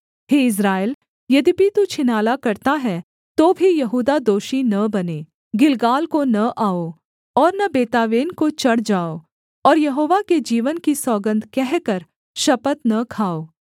हे Israel यद्यपि तू छिनाला करता है तो भी यहूदा दोषी न बने गिलगाल को न आओ और न बेतावेन को चढ़ जाओ और यहोवा के जीवन की सौगन्ध कहकर शपथ न खाओ